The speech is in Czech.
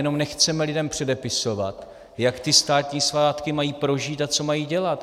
Jenom nechceme lidem předepisovat, jak ty státní svátky mají prožít a co mají dělat.